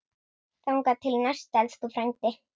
Þangað til næst, elsku frændi.